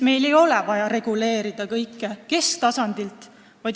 Meil ei ole vaja reguleerida kõike kesktasandilt.